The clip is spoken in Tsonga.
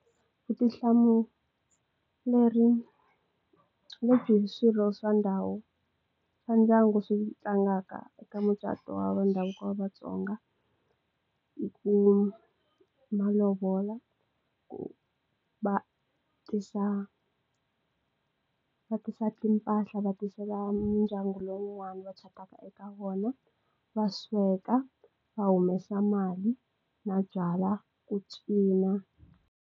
Vutihlamuleri swirho swa ndhawu swa ndyangu swi tlangaka eka mucato wa ndhavuko wa vatsonga hi ku malovola ku va tisa va tisa timpahla va tisela mindyangu lowun'wani va eka wona va suka va humesa mali na byala ku cina.